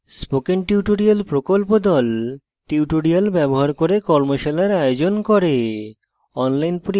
spoken tutorial প্রকল্প the tutorial ব্যবহার করে কর্মশালার আয়োজন করে